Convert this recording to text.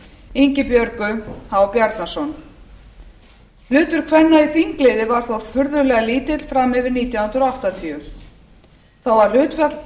ingibjörgu h bjarnason hlutur kvenna í þingliði var þó furðulega lítill fram yfir nítján hundruð áttatíu þó að hlutfall